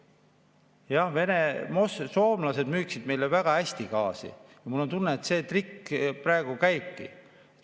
Jah, soomlased müüksid meile väga hästi gaasi ja mul on tunne, et see trikk praegu käibki.